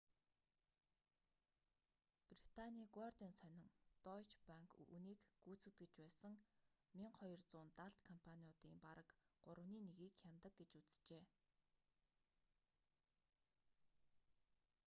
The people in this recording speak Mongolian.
британийн гуардиан сонин дойче банк үүнийг гүйцэтгэж байсан 1200 далд компаниудын бараг гуравны нэгийг хянадаг гэж үзжээ